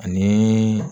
Ani